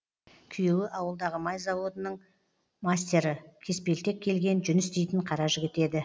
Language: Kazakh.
күйеуі ауылдағы май заводының мастері кеспелтек келген жүніс дейтін қара жігіт еді